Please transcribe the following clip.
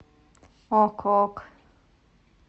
ок ок